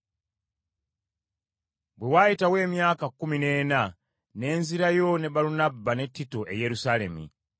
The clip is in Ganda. Bwe waayitawo emyaka kkumi n’ena ne nzirayo ne Balunabba ne Tito e Yerusaalemi.